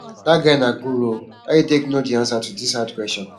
dat guy na guru oo how e take no the answer to dis hard question